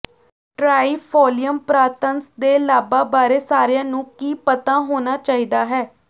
trifolium pratense ਦੇ ਲਾਭਾਂ ਬਾਰੇ ਸਾਰਿਆਂ ਨੂੰ ਕੀ ਪਤਾ ਹੋਣਾ ਚਾਹੀਦਾ ਹੈ